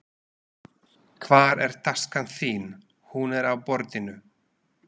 Hvar er taskan þín. Hún er á borðinu